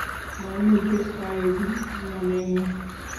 mameche aeku chamaneng'ung'